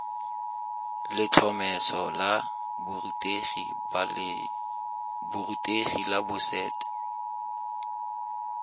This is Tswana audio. letlhomeso la borutegi la boset